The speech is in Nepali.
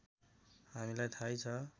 हामीलाई थाहै छ